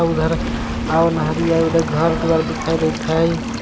आ ओहरिया घर दुआर देखाई देत हय.